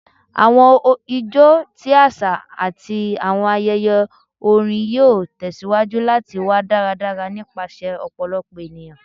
Awọn ijó ti aṣa ati awọn ayẹyẹ orin yoo tẹsiwaju lati wa daradara nipasẹ ọpọlọpọ eniyan